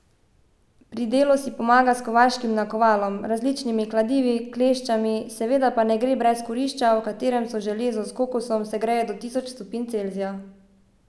Pri delu si pomaga s kovaškim nakovalom, različnimi kladivi, kleščami, seveda pa ne gre brez kurišča, v katerem se železo s koksom segreje do tisoč stopinj Celzija.